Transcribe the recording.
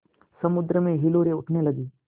समुद्र में हिलोरें उठने लगीं